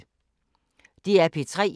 DR P3